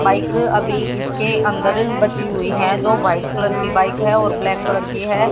Bike अभी इसके अंदर बची हुई हैं जो व्हाइट कलर की बाइक हैं और ब्लैक कलर की है।